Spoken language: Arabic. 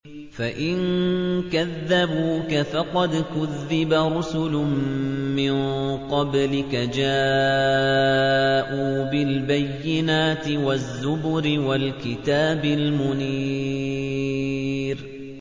فَإِن كَذَّبُوكَ فَقَدْ كُذِّبَ رُسُلٌ مِّن قَبْلِكَ جَاءُوا بِالْبَيِّنَاتِ وَالزُّبُرِ وَالْكِتَابِ الْمُنِيرِ